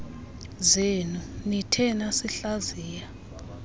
zenu nithe nasihlaziya